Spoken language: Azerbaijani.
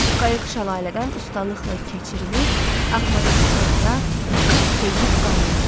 Qayıq şəlalədən ustalıqla keçirilib axmaza çıxdıqda kap keyib qalmışdı.